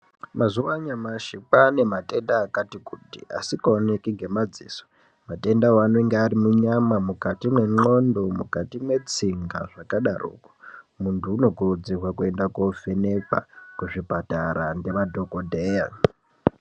Mazuwa anyamashi kwaane matenda akati kuti asikaoneki ngemadziso. Matendawo anenge ari munyama, mukati mwendxondo, mukati mwetsinga zvakadaroko. Muntu anokurudzirwa kovhenekwa kuzvipatara ngemadhokodheya.